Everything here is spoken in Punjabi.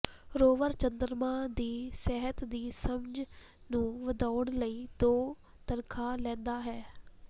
ਰੋਵਰ ਚੰਦਰਮਾ ਦੀ ਸਤਹ ਦੀ ਸਮਝ ਨੂੰ ਵਧਾਉਣ ਲਈ ਦੋ ਤਨਖਾਹ ਲੈਂਦਾ ਹੈ